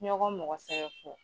Ɲɔgɔn mɔgɔsɛbɛ fɔ.